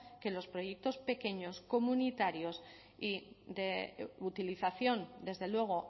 que los proyectos pequeños comunitarios y de utilización desde luego